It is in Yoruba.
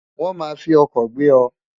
won ma fi oko gbe o